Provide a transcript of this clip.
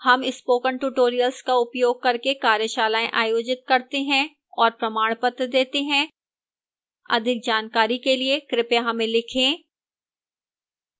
हम spoken tutorial का उपयोग करके कार्यशालाएँ आयोजित करते हैं और प्रमाणपत्र देती है अधिक जानकारी के लिए कृपया हमें लिखें